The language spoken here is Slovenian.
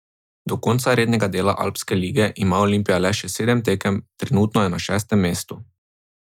Do konca rednega dela Alpske lige ima Olimpija le še sedem tekem, trenutno je na šestem mestu.